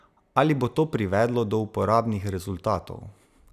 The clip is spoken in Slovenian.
Ali bo to privedlo do uporabnih rezultatov?